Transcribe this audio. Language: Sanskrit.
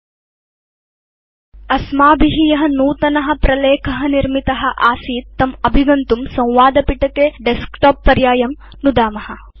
अधुना अस्माभि य नूतन प्रलेख निर्मित आसीत् तम् अभिगन्तुं संवादपिटके डेस्कटॉप पर्यायं नुदाम